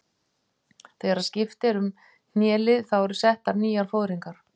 Þegar skipt er um hnélið þá eru settar nýjar fóðringar.